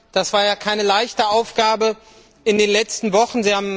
Das war ja keine leichte Aufgabe in den letzten Wochen.